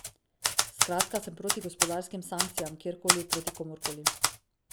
Skratka, sem proti gospodarskim sankcijam, kjerkoli, proti komurkoli.